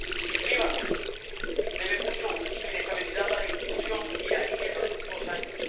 El Líbano debe mucho su inestabilidad a la intrusión iraní en los últimos años.